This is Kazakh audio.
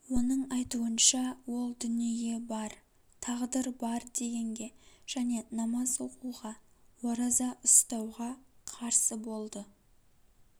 оның айтуынша ол дүние бар тағдыр бар дегенге және намаз оқуға ораза ұстауға қарсы болды